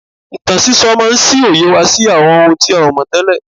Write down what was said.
Ìtàn sísọ máa ń ṣí òye wa sí àwọn ohun tí a ò mọ̀ tẹ́lẹ̀